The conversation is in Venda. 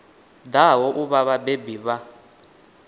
ḓaho u vha vhabebi vha